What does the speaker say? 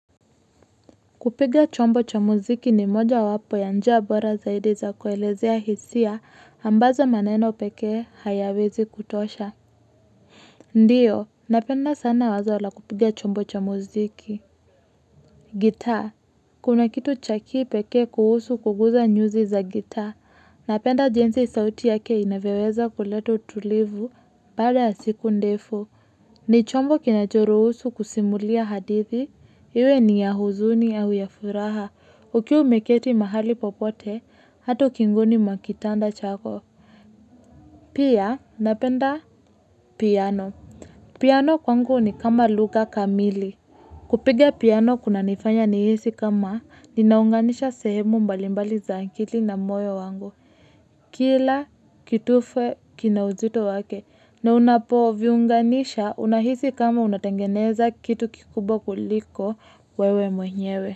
Kupiga chombo cha muziki ni moja wapo ya njia bora zaidi za kuelezea hisia ambazo maneno pekee hayawezi kutosha. Ndiyo, napenda sana wazo la kupiga chombo cha muziki. Guitar. Kuna kitu chakipekee kuhusu kuguza nyuzi za guitar. Napenda jenzi sauti yake inavyoweza kuleta utulivu baada ya siku ndefu. Ni chombo kinachoruhusu kusimulia hadithi. Iwe ni ya huzuni au ya furaha. Ukiwa umeketi mahali popote, hatu ukingoni mwa kitanda chako. Pia, napenda piano. Piano kwangu ni kama luga kamili. Kupiga piano kuna nifanya ni hisi kama, ninaunganisha sehemu mbalimbali zaakili na moyo wangu. Kila, kitufe, kina uzito wake. Na unapo viunganisha, unahisi kama unatengeneza kitu kikubwa kuliko, wewe mwenyewe.